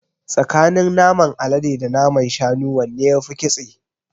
Tsakanin naman alade da naman shanu wanne yafi ƙitse?